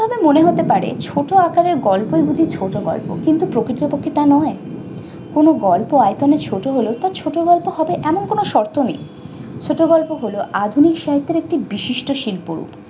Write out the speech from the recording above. মনে হতে পারে ছোট আকারের গল্পই যদি ছোট গল্প কিন্তু প্রকৃতপক্ষে তা নয়। কোন গল্প আয়তনে ছোট হলে তা ছোট গল্প হবে এমন কোন শর্ত নেই। ছোট গল্প হল আধুনিক সম্পর্কে বিশিষ্ট শিল্প।